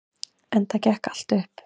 Enda gekk allt upp.